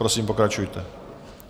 Prosím, pokračujte.